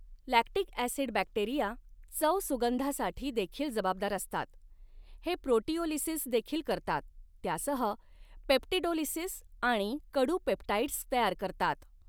Lactic acid bacteria चव सुगंधासाठी देखील जबाबदार असतात हे प्रोटिओलिसिस देखील करतात त्यासह पेप्टिडोलिसिस आणि कडू पेप्टाइड्स तयार करतात.